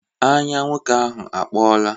Anya nwoke ahụ akpọọla.